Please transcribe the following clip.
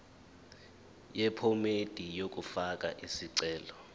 yephomedi yokufaka isicelo